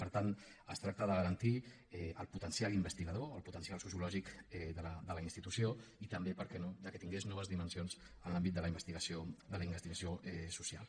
per tant es tracta de garantir el potencial investigador el potencial sociològic de la institució i també per què no que tingui noves dimensions en l’àmbit de la investigació social